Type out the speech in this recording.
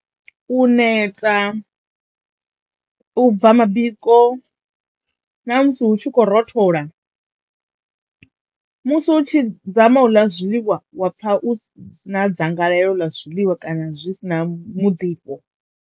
U neta, u bva mabiko na musi hu tshi khou rothola. Musi u tshi dzama u ḽa zwiḽiwa wa pfa u ssi na dzangalelo ḽa zwiḽiwa kana zwi si na mudifho.